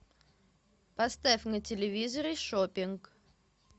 поставь на телевизоре шопинг